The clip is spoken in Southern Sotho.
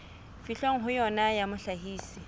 fihlwang ho yona ya mohlahisi